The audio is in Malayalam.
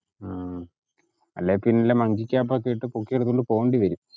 ആഹ് അല്ലെ പിന്നില്ലേ monkey cap ഒക്കെ ഇട്ടു പൊക്കി എടുത്തോണ്ട് പോവേണ്ടി വരും.